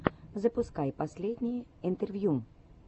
запускай последние интервью